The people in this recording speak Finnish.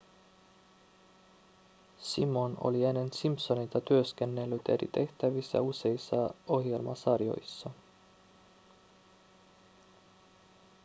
simon oli ennen simpsoneita työskennellyt eri tehtävissä useissa ohjelmasarjoissa